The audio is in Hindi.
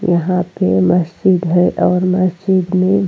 यहां पे मस्जिद है और मस्जिद में --